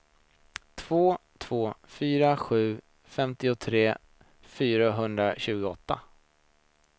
två två fyra sju femtiotre fyrahundratjugoåtta